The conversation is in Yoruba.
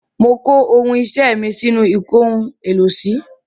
Mo kó ohun iṣẹ́ mi sínú ìkóhun-èlò-sí.